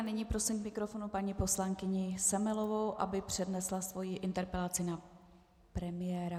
A nyní prosím k mikrofonu paní poslankyni Semelovou, aby přednesla svoji interpelaci na premiéra.